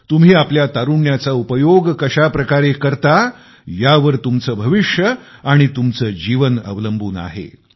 तुम्ही आपल्या तारुण्याचा उपयोग कशाप्रकारे करता यावर तुमचे भविष्य आणि तुमचे जीवन अवलंबून आहे